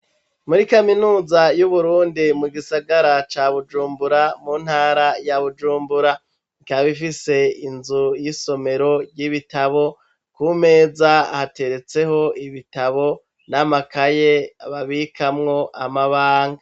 Muri kaminuza y'uburundi mu gisagara ca bujumbura mu ntara ya bujumbura ntyabifise inzu y'isomero ry'ibitabo ku meza hateretseho ibitabo n'amakaye babikamwo amabanga.